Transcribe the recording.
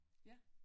Ja